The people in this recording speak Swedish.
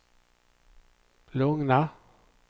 lugna